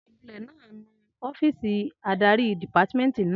Anulẹ̀ náà ń nu ọ́fìsì adarí dìpámẹ́ẹ̀ntì náà